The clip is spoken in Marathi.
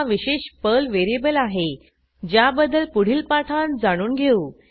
हा विशेष पर्ल व्हेरिएबल आहे ज्याबद्दल पुढील पाठांत जाणून घेऊ